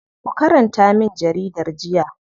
Ku karanta min jaridar jiya.